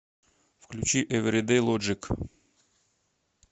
включи эвридэй лоджик